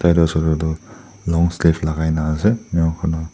etu ase koile tu long sleeve lagai na ase enia koina--